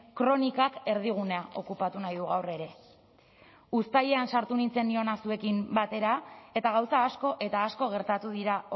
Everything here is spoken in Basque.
kronikak erdigunea okupatu nahi du gaur ere uztailean sartu nintzen ni hona zuekin batera eta gauza asko eta asko gertatu dira